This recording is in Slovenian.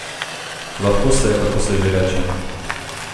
Lahko se, kako se že reče?